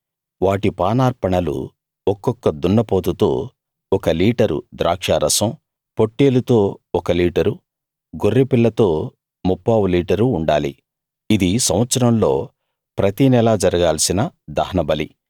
వాటి పానార్పణలు ఒక్కొక్క దున్నపోతుతో ఒక లీటరు ద్రాక్షారసం పొట్టేలుతో ఒక లీటరు గొర్రెపిల్లతో ముప్పావు లీటరు ఉండాలి ఇది సంవత్సరంలో ప్రతినెలా జరగాల్సిన దహనబలి